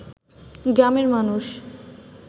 গ্রামের মানুষ